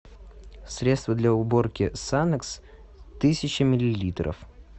средство для уборки санекс тысяча миллилитров